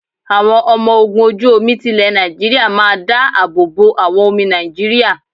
Àwọn ọmọ ogun ojú omi ti lè Nàìjíríà máa ń dá àbọ̀ bo àwọn omi Nàìjíríà.